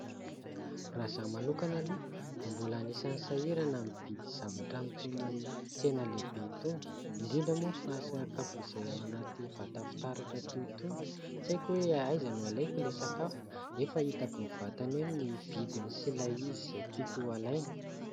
Raha za manokana aloha dia mbola anisany sahirana ny mividy zavatra amin' ny itony tsena lehibe itony indrindra moa fa sakafo izay ao anaty vata-fitaratra toy itony tsy haiko hoe aiza no alaiko ilay sakafo nefa hitako mivantana eo ny vidiny sy ilay izy izay tiako alaina.